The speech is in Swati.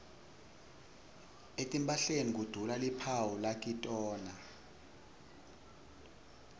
etimphahleni kudula luphawu lakitona